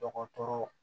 Dɔgɔtɔrɔ